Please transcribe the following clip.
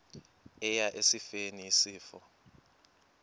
eya esifeni isifo